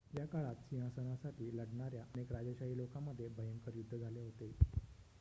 या काळात सिंहासनासाठी लढणाऱ्या अनेक राजेशाही लोकांमध्ये भयंकर युद्ध झाले होते